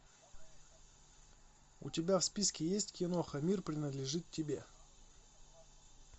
у тебя в списке есть киноха мир принадлежит тебе